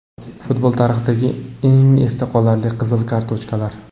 Futbol tarixidagi eng esda qolarli qizil kartochkalar .